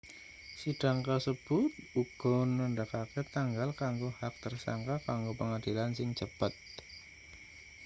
sidang kasebut uga nandhakake tanggal kanggo hak tersangka kanggo pengadilan sing cepet